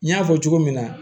N y'a fɔ cogo min na